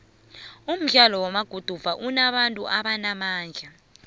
umdlalo wamaguduva unabantu abanamandla